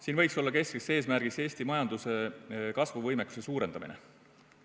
Siin võiks olla keskne eesmärk Eesti majanduse kasvuvõimekuse suurendamine.